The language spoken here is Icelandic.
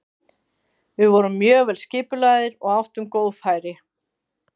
Við vorum mjög vel skipulagðir og áttum góð færi.